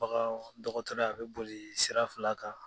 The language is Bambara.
Bagan dɔgɔtɔrɔya a bɛ boli sira fila kan.